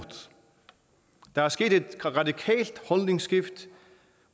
der er sket et radikalt holdningsskift